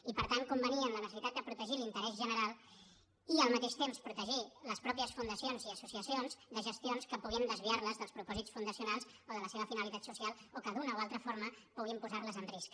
i per tant convenir en la necessitat de protegir l’interès general i al mateix temps protegir les pròpies fundacions i associacions de gestions que puguin desviar les dels propòsits fundacionals o de la seva finalitat social o que d’una o altra forma puguin posar les en risc